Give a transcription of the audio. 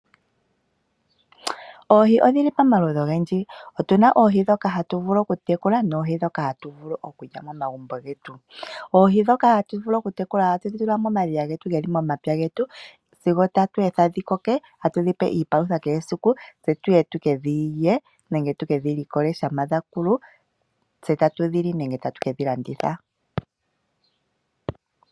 Oohi odhi li pamaludhi ogendji. Otu na oohi ndhoka hatu vulu okutekula noohi ndhoka hatu vulu okulya momagumbo getu. Oohi ndhoka hatu vulu okutekula ohatu dhi tula momadhiya ge li momapya getu sigo tatu etha dhi koke, tatu dhi pe iipalutha kehe esiku, tse tu ye tu ke dhi yule mo shampa dha koko, tse tatu dhi li po nenge tatu ke dhi landitha po.